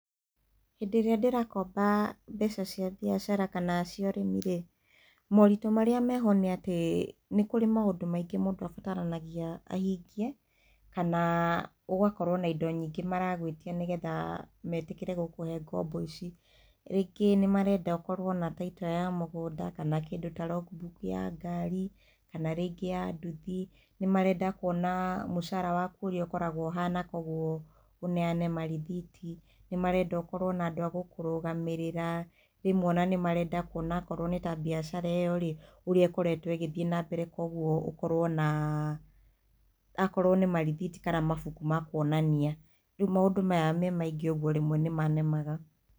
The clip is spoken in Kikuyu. Hĩndĩ ĩria ndĩrakomba mbeca cia biacara kana cia ũrĩmi rĩ mũritũ marĩa meho nĩ atĩ nĩ kũrĩ maũndũ maingĩ mũndũ abataranagia ahingie kana ũgakorwo na indo nyingĩ maragwĩtia nĩgetha metĩkĩre gũkũhe ngombo ici. Rĩngĩ nĩ marenda ũkorwo na title ya mũgũnda kana kĩndũ ta logbook ya ngari kana rĩngĩ ya nduthi, nĩ marenda kuona mũcara waku ũrĩa ũkoragwo ũhana, koguo ũneyane marĩthiti, nĩ marenda ũkorwo na andũ a gũkũrũgamĩrĩra, rĩmwe ona nĩ marenda kuona akorwo nĩ ta bĩacara ĩyo rĩ ũrĩa ĩkoretwo ĩgĩthiĩ na mbere koguo ũkorwo na akorwo nĩ marĩthiti kana mabuku ma kuonania. Rĩu maũndũ maya me maingĩ ũguo rĩmwe nĩ manemaga.